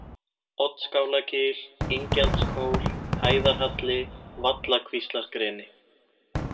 Oddskálagil, Ingjaldskór, Hæðarhalli, Vallakvíslargreni